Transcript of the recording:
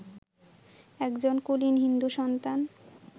একজন কুলীন হিন্দু-সন্তান